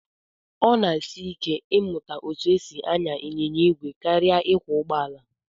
Ọ na-esi ike ịmụta etu e si anya ịnyịnya ìgwè karịa ịkwọ ụgbọala